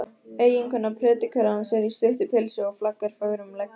Eiginkona predikarans er í stuttu pilsi og flaggar fögrum leggjum.